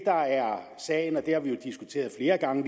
der er sagen og det har vi jo diskuteret flere gange